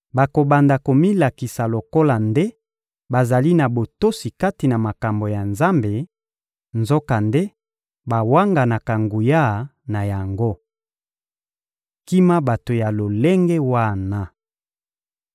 bakobanda komilakisa lokola nde bazali na botosi kati na makambo ya Nzambe, nzokande bawanganaka nguya na yango. Kima bato ya lolenge wana!